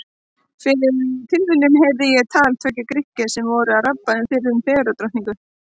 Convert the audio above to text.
Fyrir tilviljun heyrði ég á tal tveggja Grikkja sem voru að rabba um fyrrum fegurðardrottningu.